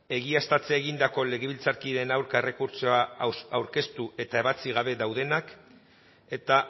egiaztatzea egindako legebiltzarkideen aurka errekurtsoa aurkeztu eta ebatzi gabe daudenak eta